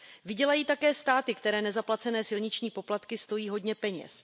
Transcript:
Vydělají také státy, které nezaplacené silniční poplatky stojí hodně peněz.